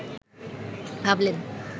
ভাবলেন